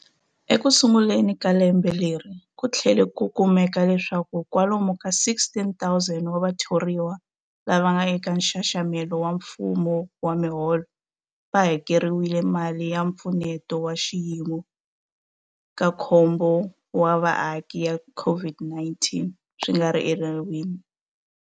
Ekusunguleni ka lembe leri, ku tlhele ku kumeka leswaku kwalomu ka 16,000 wa vathoriwa lava nga eka nxaxamelo wa mfumo wa miholo va hakeriwile mali ya Mpfuneto wa Xiyimo xa Khombo wa Vaaki ya COVID-19 swi nga ri enawini.